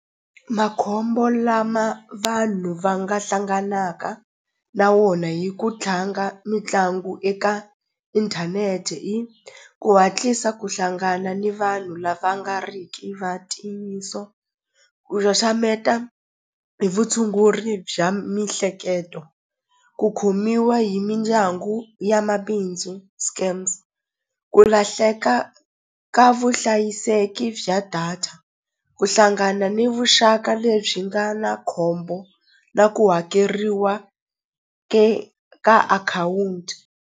Makhombo lama vanhu va nga hlanganaka na wona hi ku tlanga mitlangu eka inthanete i ku hatlisa ku hlangana ni vanhu lava nga ri ki va ntiyiso ku xaxameta hi vutshunguri bya mihleketo ku khomiwa hi mindyangu ya mabindzu scams ku lahleka ka vuhlayiseki bya data ku hlangana ni vuxaka lebyi nga na khombo na ku hakeriwa ke ka akhawunti.